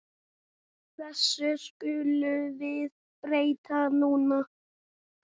Þessu skulum við breyta núna.